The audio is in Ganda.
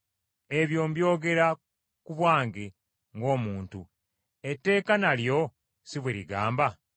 Ebyo mbyogera ku bwange ng’omuntu, etteeka nalyo si bwe ligamba?